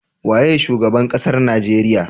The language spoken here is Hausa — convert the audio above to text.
Waye shugaban ƙasar nigeria?